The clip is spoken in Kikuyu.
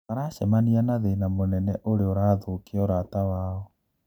Maracemania na thina munene uria urathũkia ũrata wao.